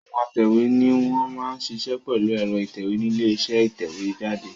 Àwọn atẹ̀wé ni wọ́n máa ń ṣiṣẹ́ pẹ̀lú ẹ̀rọ ìtẹ̀wé nílé iṣẹ́ ìtẹ̀jáde.